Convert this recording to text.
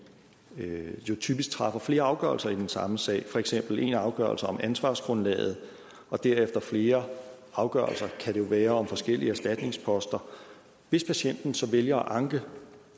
jo typisk træffer flere afgørelser i den samme sag for eksempel en afgørelse om ansvarsgrundlaget og derefter flere afgørelser det kan være om forskellige erstatningsposter hvis patienten så vælger at anke